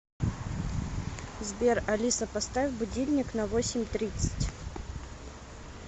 сбер алиса поставь будильник на восемь тридцать